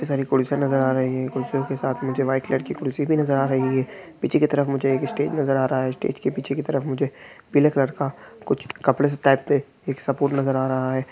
सारी कुर्सियां नज़र आ रही है कुर्सियों के साथ मुझे वाइट कलर की कुर्सी भी नज़र आ रही है पीछे की तरफ मुझे एक स्टेज नज़र आ रहा है स्टेज के पीछे की तरफ मुझे पीले कलर का कुछ कपड़े स टाइप पे एक सपोर्ट नज़र आ रहा है।